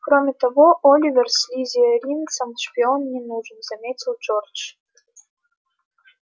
кроме того оливер слизеринцам шпион не нужен заметил джордж